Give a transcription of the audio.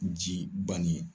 Ji bannen ye.